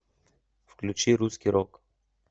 включи русский рок